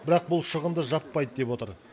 бірақ бұл шығынды жаппайды деп отыр